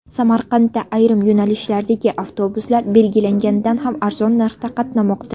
Samarqandda ayrim yo‘nalishlardagi avtobuslar belgilanganidan ham arzon narxda qatnamoqda.